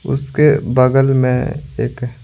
उसके बगल में एक --